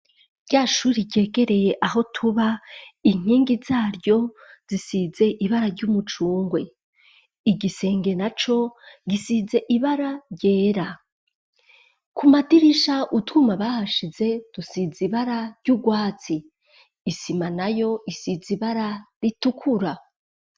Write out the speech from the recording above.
Ryashure ryegereye aho tuba inkingi zaryo zisize ibara ry'umucungwe igisenge naco gisize ibara ryera, ku madirisha utwuma bahashize tusize ibara ry'ugwatsi, isima nayo isize ibara ritukura.